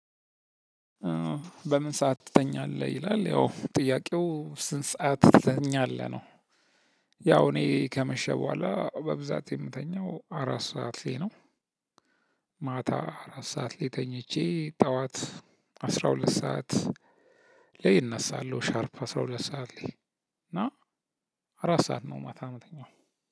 በምን ሰዓት ትተኛለህ? ይላል ያው ጥያቄው ስንት ሰዓት ትተኛለህ? ነው ያው እኔ ከመሸ በኋላ በብዛት የምተኛው አራት ሰዓት ላይ ነው። ማታ አራት ሰዓት ላይ ተኝቼ ጠዋት አስራ ሁለት ሰዓት ላይ እነሳለሁ ሻርፕ አስራ ሁለት ሰዓት ላይ እና አራት ሰዓት ነው ማታ ምተኛው